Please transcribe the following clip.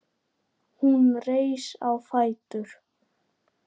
Hún reis á fætur.